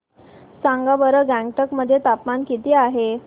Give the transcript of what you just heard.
सांगा बरं गंगटोक मध्ये तापमान किती आहे